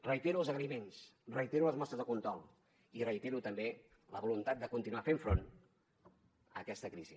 reitero els agraïments reitero les mostres de condol i reitero també la voluntat de continuar fent front a aquesta crisi